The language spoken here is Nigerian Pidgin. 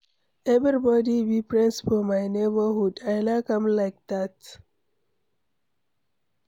Everybody be friends for my neighborhood. I like am like dat.